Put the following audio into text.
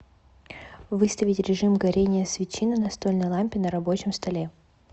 выставить режим горение свечи на настольной лампе на рабочем столе